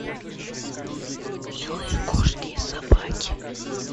милые кошки и собаки